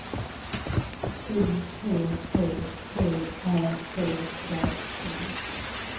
U P P T Ä C K T